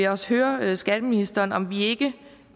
også høre høre skatteministeren om vi ikke